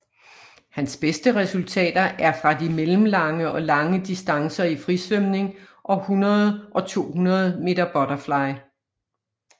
Hans beste resultater er fra de mellemlange og lange distancer i frisvømning og 100 og 200 meter butterfly